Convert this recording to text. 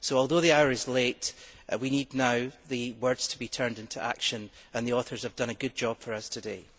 Although the hour is late, we now need the words to be turned into action and the authors have done a good job for us today.